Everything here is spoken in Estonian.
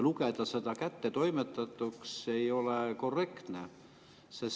Lugeda seda kättetoimetatuks ei ole korrektne.